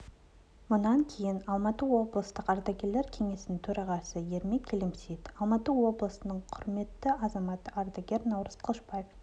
мұнан кейін алматы облыстық ардагерлер кеңесінің төрағасы ермек келемсейіт алматы облысының құрметті азаматы ардагер наурыз қылышбаев